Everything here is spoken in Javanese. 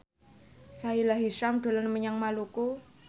Sahila Hisyam dolan menyang Maluku